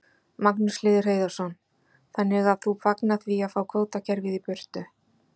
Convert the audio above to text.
Magnús Hlynur Hreiðarsson: Þannig að þú fagnar því að fá kvótakerfið í burtu?